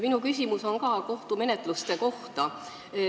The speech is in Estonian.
Minu küsimus on kohtumenetluste kohta.